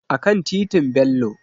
A kan titin Bello